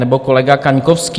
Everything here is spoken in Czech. Nebo kolega Kaňkovský.